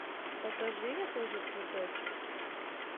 покажи я тоже цветочек